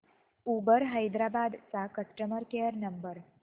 Uber Hyderabad चा customer care number